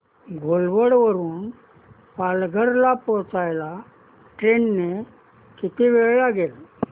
घोलवड वरून पालघर ला पोहचायला ट्रेन ने किती वेळ लागेल